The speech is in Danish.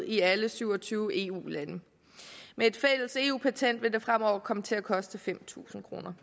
i alle syv og tyve eu lande med et fælles eu patent vil det fremover komme til at koste fem tusind kroner